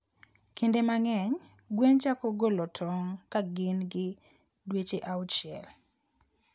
Kinde mang'eny, gwen chako golo tong' ka gin gi dweche auchiel.